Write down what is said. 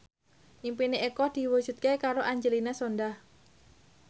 impine Eko diwujudke karo Angelina Sondakh